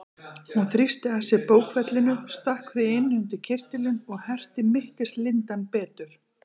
Hún þrýsti að sér bókfellinu, stakk því inn undir kyrtilinn og herti mittislindann betur.